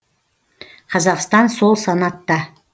қазақстан сол санатта